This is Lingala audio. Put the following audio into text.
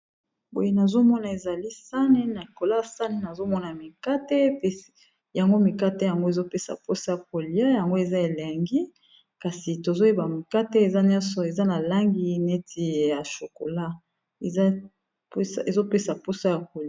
boye nazomona ezali sani nikola sani nazomona mikate mpe yango mikate yango ezopesa mposa ya kolia yango eza elengi kasi tozoyeba mikate eza nyonso eza na langi neti ya chokola ezopesa mposa ya kolia